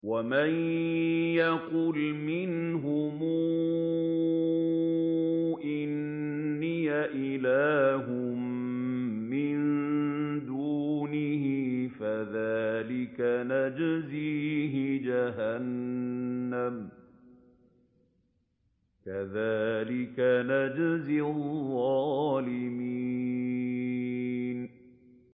۞ وَمَن يَقُلْ مِنْهُمْ إِنِّي إِلَٰهٌ مِّن دُونِهِ فَذَٰلِكَ نَجْزِيهِ جَهَنَّمَ ۚ كَذَٰلِكَ نَجْزِي الظَّالِمِينَ